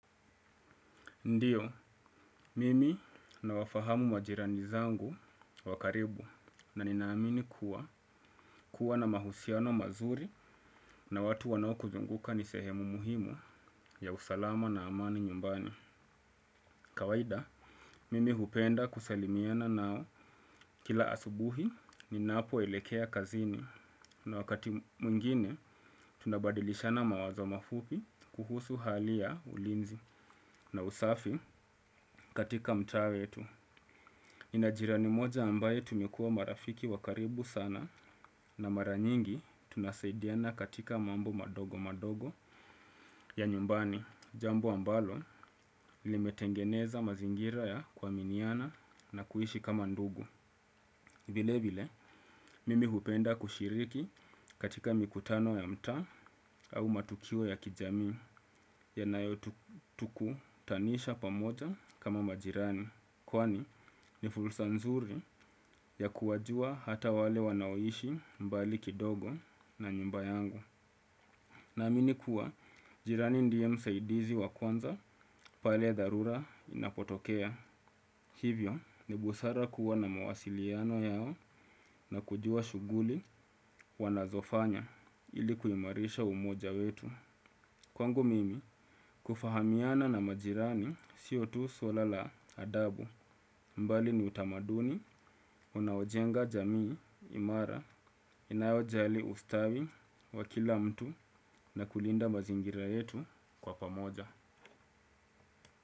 Ndiyo, mimi na wafahamu majirani zangu wa karibu na ninaamini kuwa, kuwa na mahusiano mazuri na watu wanao kuzunguka ni sehemu muhimu ya usalama na amani nyumbani. Kawaida, mimi hupenda kusalimiana nao kila asubuhi ninapoelekea kazini na wakati mwingine tunabadilishana mawazo mafupi kuhusu hali ya ulinzi na usafi katika mtaa tu. Nina jirani mmoja ambaye tumekuwa marafiki wa karibu sana na mara nyingi tunasaidiana katika mambo madogo madogo ya nyumbani. Jambo ambalo limetengeneza mazingira ya kwa kuaminiana na kuishi kama ndugu. Vile vile, mimi hupenda kushiriki katika mikutano ya mta au matukio ya kijamii yanayo tukutanisha pamoja kama majirani. Kwani ni fursa nzuri ya kuwajua hata wale wanaoishi mbali kidogo na nyumba yangu. Naamini kuwa, jirani ndiye msaidizi wa kwanza pale dharura inapotokea. Hivyo ni busara kuwa na mawasiliano yao na kujua shughuli wanazofanya ili kuimarisha umoja wetu. Kwangu mimi kufahamiana na majirani sio tu swala la adabu mbali ni utamaduni unaojenga jamii imara inayojali ustawi wa kila mtu na kulinda mazingira yetu kwa pamoja.